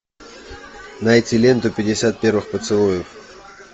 найти ленту пятьдесят первых поцелуев